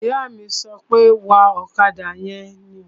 Ìyá mi sọ pé, "Wa ọ̀kadà yẹn!"